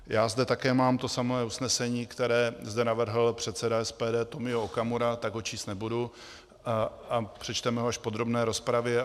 Já zde také mám to samé usnesení, které zde navrhl předseda SPD Tomio Okamura, tak ho číst nebudu a přečteme ho až v podrobné rozpravě.